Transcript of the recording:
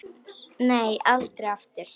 Nei, aldrei aftur.